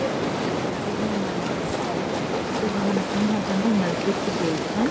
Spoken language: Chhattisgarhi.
यहां पे एक सजे हुए एक मस्जिद दिखत थे जे ल हमन अपन भाषा में मस्जिद ही बोलथन।